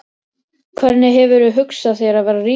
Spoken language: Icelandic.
Hvernig hefurðu hugsað þér að verða ríkur?